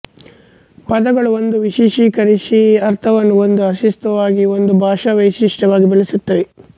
ಪದಗಳು ಒಂದು ವಿಶೇಷೀಕರಿಸಿದ ಅರ್ಥವನ್ನು ಒಂದು ಅಸ್ತಿತ್ವವಾಗಿ ಒಂದು ಭಾಷಾವೈಶಿಷ್ಟ್ಯ ವಾಗಿ ಬೆಳೆಸುತ್ತವೆ